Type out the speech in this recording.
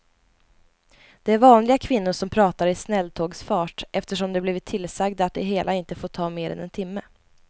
Det är vanliga kvinnor som pratar i snälltågsfart eftersom de blivit tillsagda att det hela inte får ta mer än en timme.